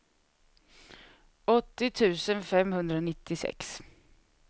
åttio tusen femhundranittiosex